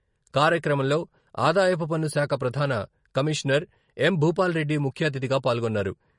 కార్యక్రమంలో ఆదాయపు పన్ను శాఖ ప్రధాన కమిషనర్ ఎం.భూపాల్రెడ్డి ముఖ్యఅతిథిగా పాల్గొన్నారు.